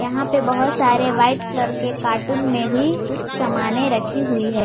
यहां पे बहोत सारे व्हाइट कलर के कार्टून में भी कुछ समाने रखी हुई है।